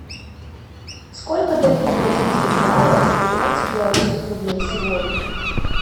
сколько дают бразильских реалов за пятнадцать белорусских рублей сегодня